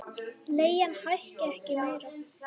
Leigan hækki ekki meira.